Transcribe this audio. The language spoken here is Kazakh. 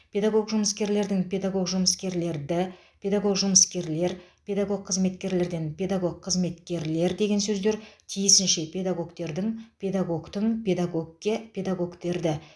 педагог жұмыскерлердің педагог жұмыскерлерді педагог жұмыскерлер педагог қызметкерлерден педагог қызметкерлер деген сөздер тиісінше педагогтердің педагогтің педагогке педагогтерді